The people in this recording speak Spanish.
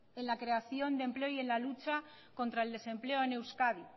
en la creación de empleo y en la lucha contra el desempleo en euskadi